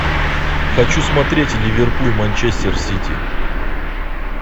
хочу смотреть ливерпуль манчестер сити